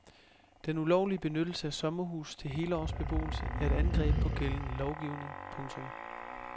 Den ulovlige benyttelse af sommerhuse til helårsbeboelse er et angreb på gældende lovgivning. punktum